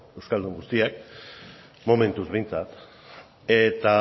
euskaldun guztiak momentuz behintzat eta